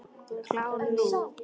Klár núna.